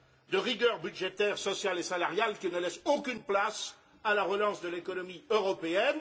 de rigueur budgétaire sociale et salariale qui ne laisse aucune place à la relance de l'économie européenne.